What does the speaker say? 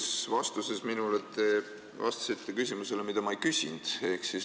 Esimeses vastuses minule te vastasite küsimusele, mida ma ei küsinud.